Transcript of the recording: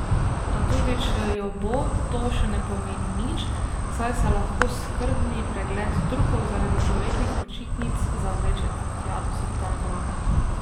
A tudi če jo bo, to še ne pomeni nič, saj se lahko skrbni pregled Turkov, zaradi poletnih počitnic, zavleče tja do septembra.